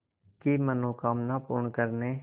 की मनोकामना पूर्ण करने